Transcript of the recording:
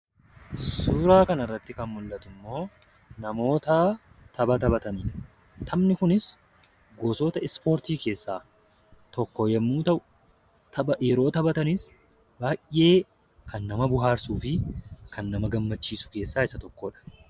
Suuraa kanarratti kan mul'atu immoo namoota tapha taphataniidha. Taphni kunis gosoota ispoortii keessaa tokko yommuu ta'u, tapha yeroo taphatanis baay'ee kan nama bohaarsuu fi kan nama gammachiisu keessaa isa tokkodha.